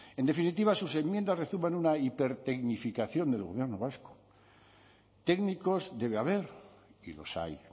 en definitiva sus enmiendas rezuman una hipertecnificación del gobierno vasco técnicos debe haber y los hay